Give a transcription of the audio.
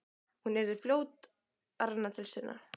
Hún yrði fljót að renna til sinna.